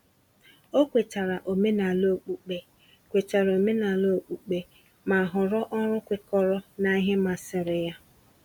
O kwetara omenala okpukpe, kwetara omenala okpukpe, ma họrọ ọrụ kwekọrọ na ihe masịrị ya.